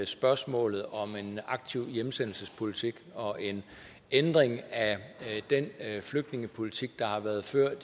spørgsmålet om en aktiv hjemsendelsespolitik og en ændring af den flygtningepolitik der har været ført